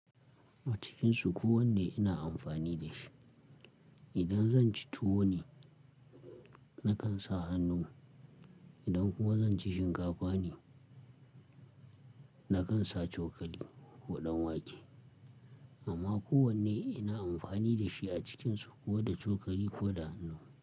A cikinsu kowane ina amfani da shi. Idan zan ci tuwo ne nakan sa hannu, idan kuma zan ci shinkafa ne nakan sa cokali ko ɗanwake. Amma kowane ina amfani da shi a cikinsu ko da cokali ko da hannu.